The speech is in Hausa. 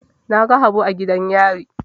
Na ga Habu a gidan yari.